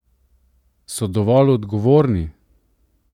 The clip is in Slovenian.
So dovolj odgovorni?